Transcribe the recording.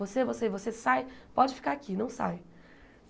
Você, você, e você, sai, pode ficar aqui, não sai.